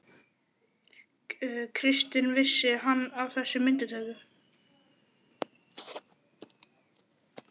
Kristinn: Vissi hann af þessi myndatöku?